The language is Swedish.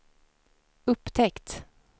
upptäckt